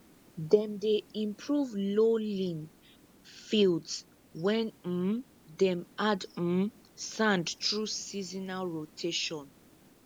dem dey improve lowlying fields when um dem add um sand through seasonal rotation